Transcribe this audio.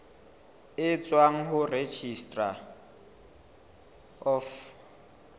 e tswang ho registrar of